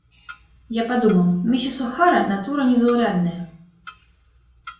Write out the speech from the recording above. я подумал миссис охара натура незаурядная